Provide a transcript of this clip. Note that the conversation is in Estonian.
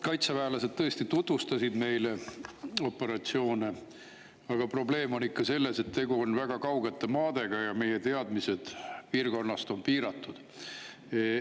Kaitseväelased tõesti tutvustasid meile operatsioone, aga probleem on ikka selles, et tegu on väga kaugete maadega ja meie teadmised piirkonnast on piiratud.